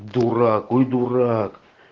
дурак ой дурак